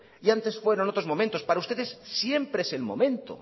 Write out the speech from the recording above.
y antes fueron otros momentos para ustedes siempre es el momento